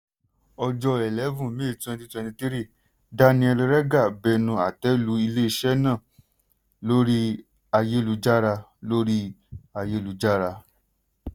ọjọ́ 11 may 2023 daniel regha bẹ̀rù àtẹ́lu ilé-iṣẹ́ náà lórí ayélujára. lórí ayélujára.